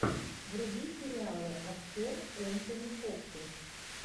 вруби сериалы актер энтони хопкинс